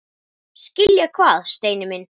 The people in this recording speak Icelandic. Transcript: Skilja hvað, Steini minn?